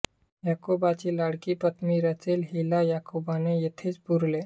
याकोबाची लाडकी पत्नी रेचेल हिला याकोबाने येथेच पुरले